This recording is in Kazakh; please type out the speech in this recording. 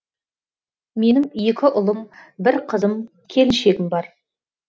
менің екі ұлым бір қызым келіншегім бар